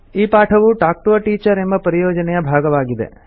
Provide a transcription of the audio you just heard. ಈ ಪಾಠವು talk to a teacher ಎಂಬ ಪರಿಯೋಜನೆಯ ಭಾಗವಾಗಿದೆ